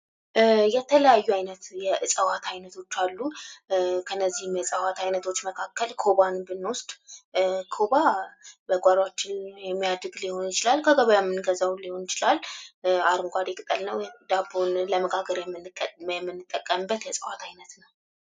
የተለያዩ ዓይነት የእጽዋት አይነቶች አሉ ከእነዚህም የእዋት አይነቶች መካከል ኮባ ብንወስድ በጓሮችን ሊሆን ይችላል ከገበያም ምንገዛው ሊሆን ይችላል አረንጓዴ ቅጠል ነው ዳቦን ለመጋገርነት የምጠቀመው የእዋት አይነት ነው።